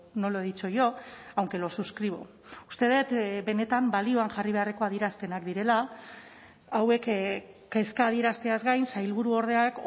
no lo he dicho yo aunque lo suscribo uste dut benetan balioan jarri beharreko adierazpenak direla hauek kezka adierazteaz gain sailburuordeak